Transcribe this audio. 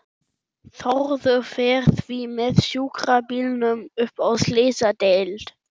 Þórður fer því með sjúkrabílnum upp á slysadeild.